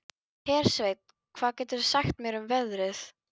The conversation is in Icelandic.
Hersveinn, hvað geturðu sagt mér um veðrið?